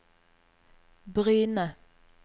Bryne